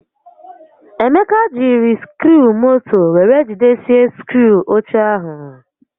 Emeka jiri sikruumoto were jidesie sikruu oche ahụ